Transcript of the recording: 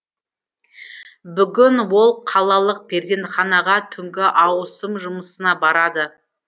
бүгін ол қалалық перзентханаға түнгі ауысым жұмысына барады